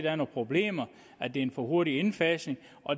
er nogle problemer og at det er en for hurtig indfasning